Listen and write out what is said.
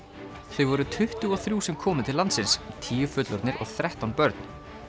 þau voru tuttugu og þrjú sem komu til landsins tíu fullorðnir og þrettán börn